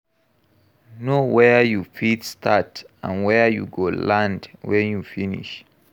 Know where you fit start and where you go land when you finish